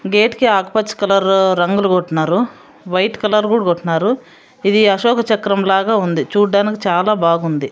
Gate కి ఆకుపచ్చ colour రంగులు కొట్టినారు వైట్ కలర్ కూడా కొట్టినారు ఇది అశోక చక్రం లాగా ఉంది చూడ్డానికి చాలా బాగుంది.